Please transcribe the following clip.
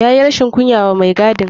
Ya yi rashin kunya wa mai gadin.